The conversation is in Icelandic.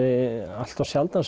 allt of sjaldan